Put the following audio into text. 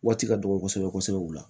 Waati ka dɔgɔ kosɛbɛ kosɛbɛ kosɛbɛ u la